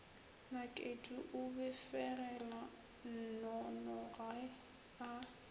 nakedi o befegela nnonoge a